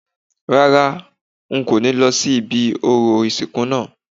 Rárá, n kò ní lọ sí ibi orò ìsìnkú náà